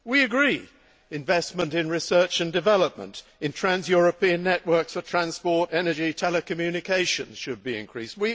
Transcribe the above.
We agree investment in research and development, in trans European networks for transport, energy and telecommunications should be increased.